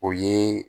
O ye